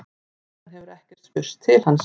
Síðan hefur ekki spurst til hans